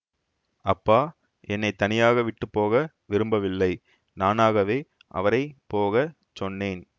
அப்பா என்னை தனியாக விட்டு போக விரும்பவில்லை நானாகவே அவரை போக சொன்னேன்